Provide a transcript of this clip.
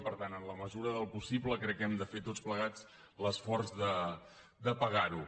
per tant en la mesura del possible crec que hem de fer tots plegats l’esforç de pagar·ho